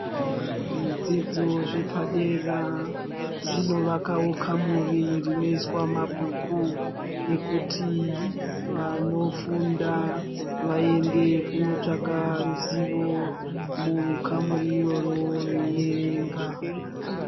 Zvidzidzo zvepadera zvinovakawo kamuri rinoiswa mabhuku ekuti vanofunda vaende kunotsvaka ruzivo mukamuri itoro veierenga.